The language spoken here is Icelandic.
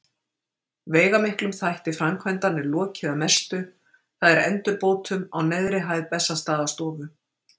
Veigamiklum þætti framkvæmdanna er lokið að mestu, það er endurbótum á neðri hæð Bessastaðastofu.